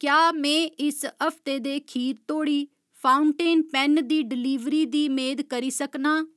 क्या में इस हफ्ते दे खीर तोड़ी फाउंटेन पैन्न दी डलीवरी दी मेद करी सकनां ?